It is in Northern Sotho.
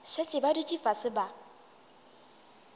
šetše ba dutše fase ba